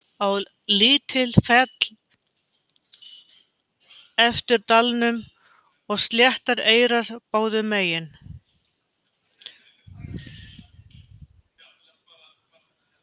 Á lítil féll eftir dalnum og sléttar eyrar báðum megin.